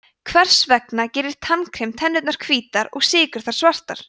hvers vegna gerir tannkrem tennurnar hvítar og sykur þær svartar